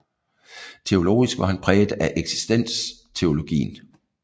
Teologisk var han præget af eksistensteologien